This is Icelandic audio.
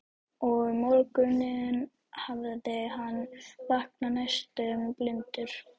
Og um morguninn hafði hann vaknað næstum blindur.